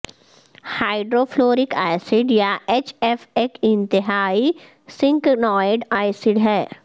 hydro fluoric acid یا H F ایک انتہائی سنکنائڈ ایسڈ ہے